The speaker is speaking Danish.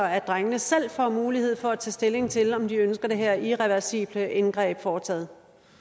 drengene selv får mulighed for at tage stilling til om de ønsker det her irreversible indgreb foretaget